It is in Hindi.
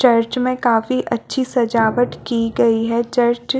चर्च में काफी अच्छी सजावट की गयी है चर्च --